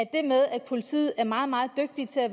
det med at politiet er meget meget dygtige til at